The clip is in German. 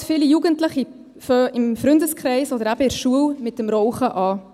Gerade viele Jugendliche beginnen im Freundeskreis oder eben in der Schule zu rauchen.